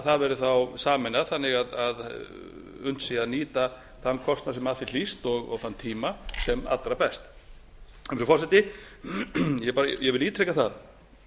það verði þá sameinað þannig að unnt sé að nýta þann kostnað sem af því hlýst og þann tíma sem allra best frú forseti ég vil ítreka það